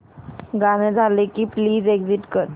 गाणं झालं की प्लीज एग्झिट कर